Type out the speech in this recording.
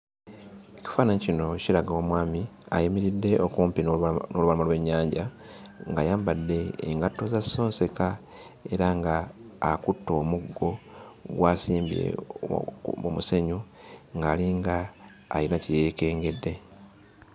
Ekifaananyi kino kiraga omwami ayimiridde okumpi n'olubalama n'olubalama lw'ennyanja ng'ayambadde engatto za sonseka era ng'akutte omuggo gw'asimbye oku mu musenyu ng'alinga ayina kye yeekengedde.